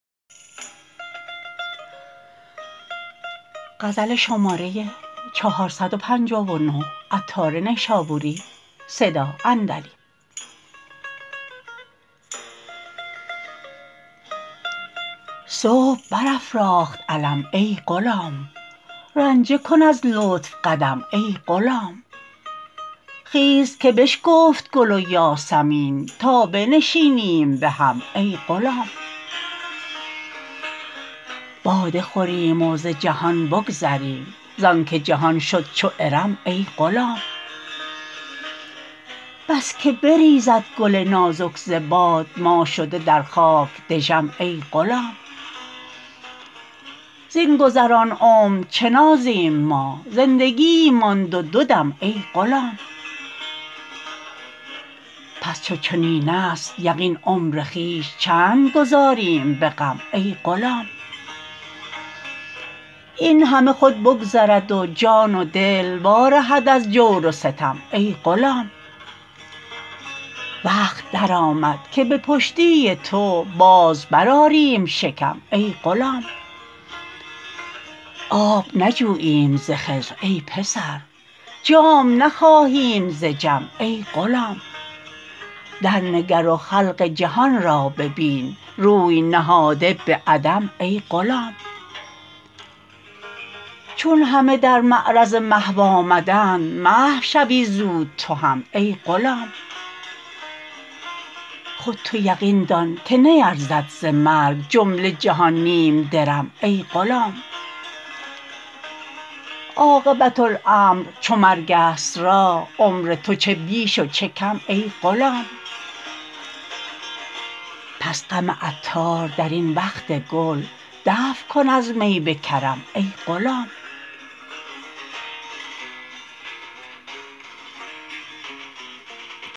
صبح بر افراخت علم ای غلام رنجه کن از لطف قدم ای غلام خیز که بشکفت گل و یاسمین تا بنشینیم به هم ای غلام باده خوریم و ز جهان بگذریم زانکه جهان شد چو ارم ای غلام بس که بریزد گل نازک ز باد ما شده در خاک دژم ای غلام زین گذران عمر چه نازیم ما زندگیی ماند و دو دم ای غلام پس چو چنین است یقین عمر خویش چند گذاریم به غم ای غلام این همه خود بگذرد و جان و دل وا رهد از جور و ستم ای غلام وقت درآمد که به پشتی تو باز بر آریم شکم ای غلام آب نجوییم ز خضر ای پسر جام نخواهیم ز جم ای غلام در نگر و خلق جهان را ببین روی نهاده به عدم ای غلام چون همه در معرض محو آمدند محو شوی زود تو هم ای غلام خود تو یقین دان که نیرزد ز مرگ جمله جهان نیم درم ای غلام عاقبت الامر چو مرگ است راه عمر تو چه بیش و چه کم ای غلام پس غم عطار درین وقت گل دفع کن از می به کرم ای غلام